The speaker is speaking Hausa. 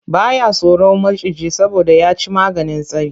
Ba ya tsoron maciji saboda ya ci maganin tsari.